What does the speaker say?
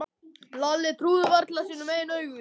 Lalli trúði varla sínum eigin augum.